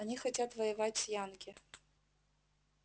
они хотят воевать с янки